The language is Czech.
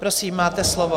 Prosím, máte slovo.